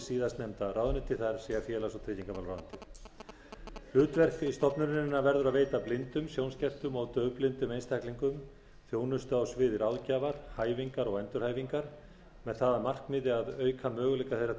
síðastnefnda ráðuneytið það er félags og tryggingamálaráðuneytið hlutverk stofnunarinnar verður að veita blindum sjónskertum og daufblindum einstaklingum þjónustu á sviði ráðgjafar hæfingar og endurhæfingar með það að markmiði að auka möguleika þeirra